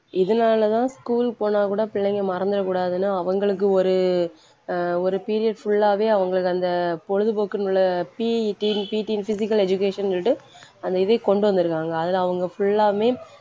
இதனாலதான் school போனா கூட பிள்ளைங்க மறந்திடகூடாதுன்னு அவங்களுக்கு ஒரு அஹ் ஒரு period full ஆவே அவங்களுக்கு அந்த பொழுதுபோக்குனுள்ள PETனு PT னு physical education னு சொல்லிட்டு அந்த இதை கொண்டு வந்துருக்காங்க அதுல அவங்க full லாமே